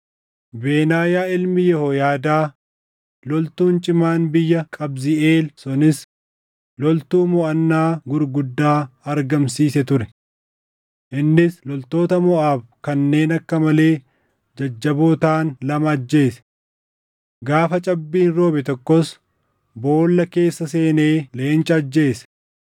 Benaayaa ilmi Yehooyaadaa loltuun cimaan biyya Qabziʼeel sunis loltuu moʼannaa gurguddaa argamsiise ture. Innis loltoota Moʼaab kanneen akka malee jajjaboo taʼan lama ajjeese. Gaafa cabbiin roobe tokkos boolla keessa seenee leenca ajjeese.